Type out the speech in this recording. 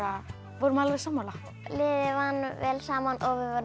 vorum alveg sammála liðið vann vel saman